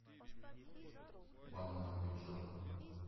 банановый джо